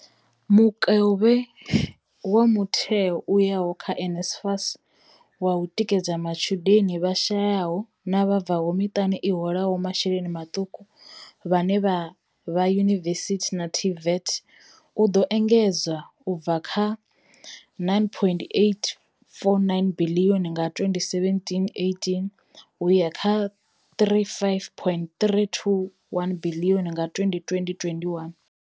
Mukovhe wa mutheo u yaho kha NSFAS wa u tikedza matshudeni vha shayaho na vha bvaho kha miṱa i holaho masheleni maṱuku vhane vha vha yunivesithi na TVET u ḓo engedzwa u bva kha R9.849 biḽioni nga 2017,18 u ya kha R35.321 biḽioni nga 2020,21.